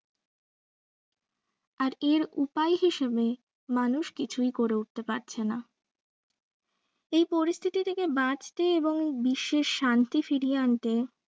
আর এর উপায় হিসেবে মানুষ কিছুই করে উঠতে পারছেনা এই পরিস্থিতি থেকে বাঁচতে এবং বিশ্বে শান্তি ফিরিয়ে আনতে